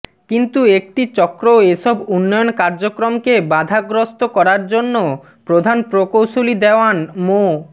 কিন্তু একটি চক্র এসব উন্নয়ন কার্যক্রমকে বাঁধাগ্রস্থ করার জন্য প্রধান প্রকৌশলী দেওয়ান মো